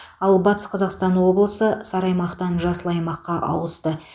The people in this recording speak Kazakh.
ал батыс қазақстан облысы сары аймақтан жасыл аймаққа ауысты